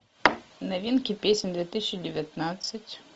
новинки песен две тысячи девятнадцать